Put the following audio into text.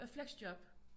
Øh flexjob